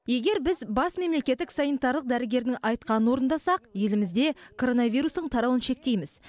егер біз бас мемлекеттік санитарлық дәрігердің айтқанын орындасақ елімізде коронавирустың тарауын шектейміз